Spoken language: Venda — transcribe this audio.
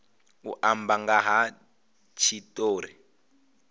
u amba nga ha tshitori